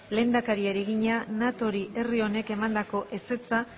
lehendakariari egina natori herri honek emandako ezetza